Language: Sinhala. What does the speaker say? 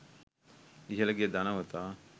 ඉහිල ගිය ධනවතා